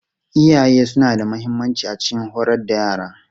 Iyaye suna da mahimmanci a cikin horar da yara.